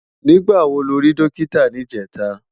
Nigbá wó ló ri Dòkitá nijètá?